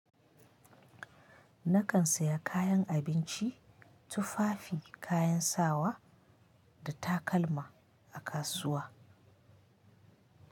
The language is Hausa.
Nakan saya kayan abinci, tufafi kayan sawa, da takalma a kasuwa.